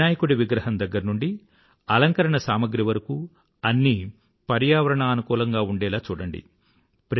వినాయకుడి విగ్రహం దగ్గర నుండీ అలంకరణ సామగ్రీ వరకూ అన్నీ పర్యావరణానుకూలంగా ఉండేలా చూడండి